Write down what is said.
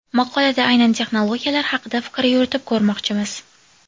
Maqolada aynan texnologiyalar haqida fikr yuritib ko‘rmoqchimiz.